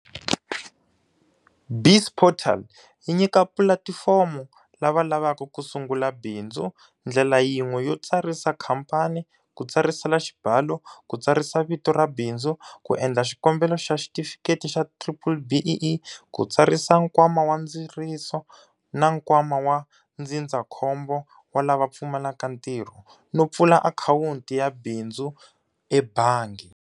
BizPortal yi nyika pulatifomo lava lavaka ku sungula bindzu ndlela yin'we yo tsarisa khamphani, ku tsarisela xibalo, ku tsarisa vito ra bindzu, ku endla xikombelo xa xitifikheti xa BBBEE, ku tsarisa Nkwama wa Ndziriso na Nkwama wa Ndzindza khombo wa lava Pfumalaka Ntirho, no pfula akhawunti ya bindzu ebangi.